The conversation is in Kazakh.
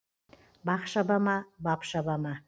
бақ шаба ма бап шаба ма